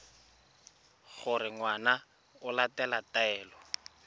gore ngwana o latela taelo